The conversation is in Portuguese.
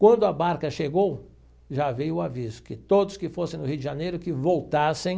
Quando a barca chegou, já veio o aviso que todos que fossem no Rio de Janeiro, que voltassem